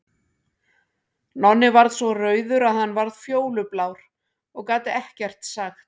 Nonni varð svo rauður að hann varð fjólublár og gat ekkert sagt.